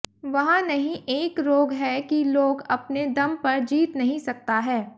वहाँ नहीं एक रोग है कि लोग अपने दम पर जीत नहीं सकता है